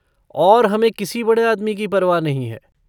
और हमें किसी बड़े आदमी की परवाह नहीं है।